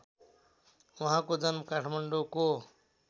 उहाँको जन्म काठमाडौँको